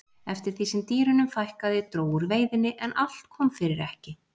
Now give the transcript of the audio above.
eftir því sem dýrunum fækkaði dró úr veiðinni en allt kom fyrir ekki